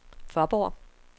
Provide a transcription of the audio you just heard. Faaborg